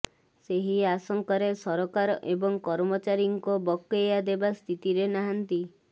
ସେହି ଆଶଙ୍କାରେ ସରକାର ଏବେ କର୍ମଚାରୀଙ୍କ ବକେୟା ଦେବା ସ୍ଥିତିରେ ନାହାନ୍ତି